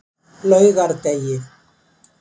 laugardegi